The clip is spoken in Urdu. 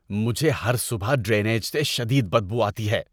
مجھے ہر صبح ڈرینیج سے شدید بدبو آتی ہے۔